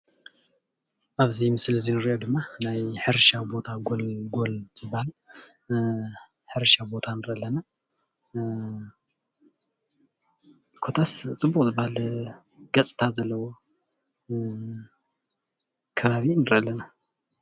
ኣብዚ ምስሊ እዚ እንሪኦ ድማ ናይ ሕርሻ ቦታ ጎልጎል ዝባሃል ሕርሻ ቦታ ንርኢ ኣለና፡፡ ኮታስ ፅቡቅ ዝባሃል ገፅታ ዘለዎ ከባቢ ንርኢ አለና፡፡